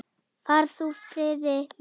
Far þú í friði, vinur.